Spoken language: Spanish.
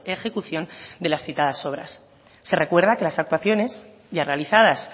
ejecución de las citadas obras se recuerda que las actuaciones ya realizadas